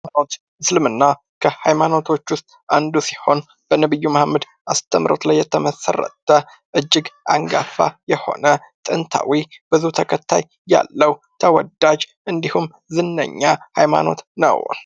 እስልምና፦ ከሀይማኖቶች ዉስጥ አንዱ ሲሆን በነቢዩ መሀመድ አስተምሮት ላይ የተመሰረተ እጅግ አንጋፋ የሆነ ጥናታዊ ብዙ ተለታይ ያለ፣ ተወዳጅ እንዲሁም ዝነኛ የሆነ ሀይማኖት ነው።